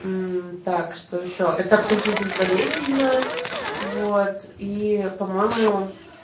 так что ещё это абсолютно безболезненно вот и по-моему